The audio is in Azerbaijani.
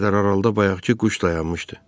Pəncərə aralda bayaqkı quş dayanmışdı.